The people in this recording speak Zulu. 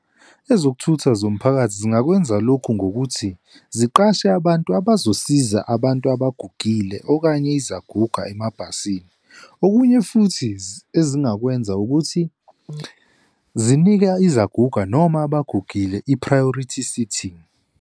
Ezokuthutha zomphakathi zingakwenza lokhu ngokuthi ziqashe abantu abazosiza abantu abagugile okanye izaguga emabhasini. Okunye futhi ezingakwenza ukuthi zinika izaguga noma abagugile i-priority sitting.